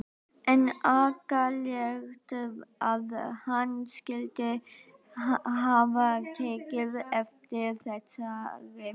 En agalegt að hann skyldi hafa tekið eftir þessari mynd.